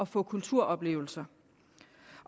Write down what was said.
få kulturoplevelser